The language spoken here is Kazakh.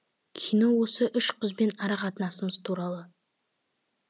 кино осы үш қызбен ара қатынасымыз туралы